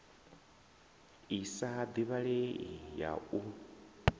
i sa divhalei ya u